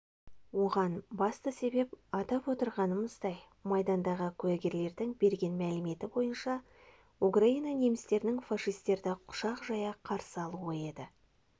оған басты себеп атап отырғанымыздай майдандағы куәгерлердің берген мәліметі бойынша украина немістерінің фашистерді құшақ жая қарсы алуы еді